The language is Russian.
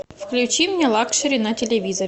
включи мне лакшери на телевизоре